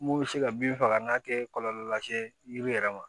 Mun bɛ se ka bin faga n'a tɛ kɔlɔlɔ lase yiri yɛrɛ ma